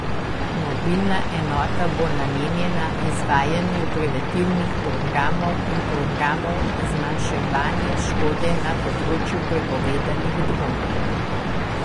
Mobilna enota bo namenjena izvajanju preventivnih programov in programov zmanjševanja škode na področju prepovedanih drog.